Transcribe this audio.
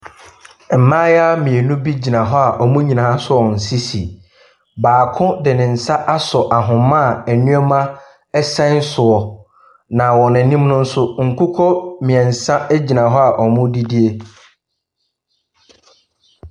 Mmayewa mmienu bi gyina hɔ a wɔn nyinaa asɔ wɔn sisi. Baako de ne nsa asɔ ahoma a nneɛma sɛn soɔ, na wɔ n'ani nso nkokɔ mmeɛnsa gyina hɔ a wɔredidi.